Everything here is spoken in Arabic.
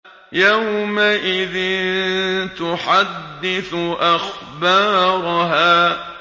يَوْمَئِذٍ تُحَدِّثُ أَخْبَارَهَا